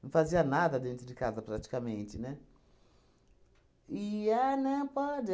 Não fazia nada dentro de casa praticamente, né? E é, né, pode